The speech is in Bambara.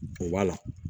Kun b'a la